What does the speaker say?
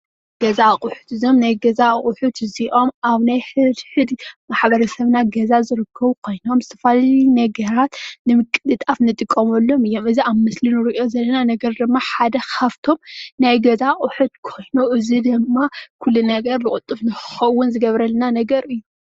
ገዛ ኣቁሑት፡- እዞም ናይ ገዛ ኣቁሑት እዚኦም ኣብ ናይ ሕድሕድ ማሕበረ ሰብና ገዛ ዝርከቡ ኮይኖም ዝተፈላለዩ ነገራት ንምቅልጣፍ እንጥቀመሎም እዮም፡፡ እዚ ኣብ ምስሊ እንሪኦ ዘለና ነገር ድማ ሓደ ካብእቶም ናይ ገዛ ኣቑሕት ኮይኑ እዚ ድማ ኩሉ ነገር ብቅልጡፍ ንክከውን ዝገብረልና ነገር እዩ፡፡